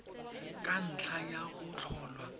ka ntlha ya go tlholwa